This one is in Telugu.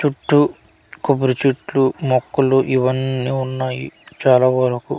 చుట్టు కొబ్బరి చెట్ట్లు మొక్కలు ఇవన్ని ఉన్నాయి చాలా వరుకు --